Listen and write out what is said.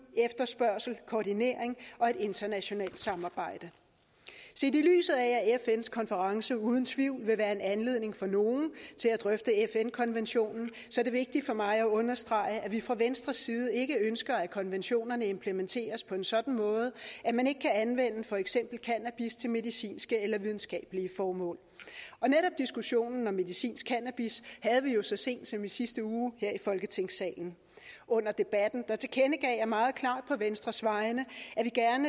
efterspørgsel koordinering og et internationalt samarbejde set i lyset af at fns konference uden tvivl vil være en anledning for nogle til at drøfte fn konventionen er det vigtigt for mig at understrege at vi fra venstres side ikke ønsker at konventionerne implementeres på en sådan måde at man ikke kan anvende for eksempel cannabis til medicinske eller videnskabelige formål og netop diskussionen om medicinsk cannabis havde vi jo så sent som i sidste uge her i folketingssalen under debatten tilkendegav jeg meget klart på venstres vegne